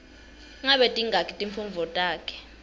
ngabe tingaki timfundvo takho